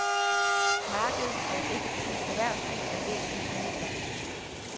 Markedet og et effektivt erhvervsliv er væsentlige midler.